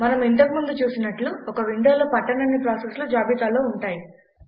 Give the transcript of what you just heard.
మనం ఇంతకు ముందు చూసినట్లు ఒక విండోలో పట్టనన్ని ప్రాసెస్లు జాబితాలో ఉంటాయి